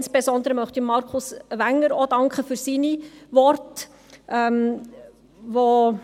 Insbesondere möchte ich auch Martin Wenger für seine Worte danken.